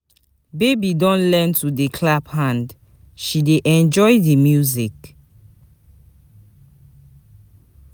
Baby don learn to dey clap hand, she dey enjoy di music.